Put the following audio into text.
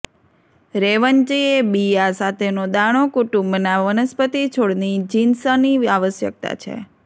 રેવંચી એ બિયાં સાથેનો દાણો કુટુંબના વનસ્પતિ છોડની જીનસની આવશ્યકતા છે